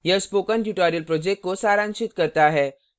यह spoken tutorial project को सारांशित करता है